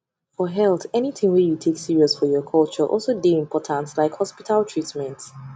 for healthanything wey you take serious for your culture also dey important like hospital treatment